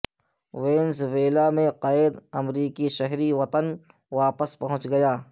Venezuela میں قید امریکی شہری وطن واپس پہنچ گیا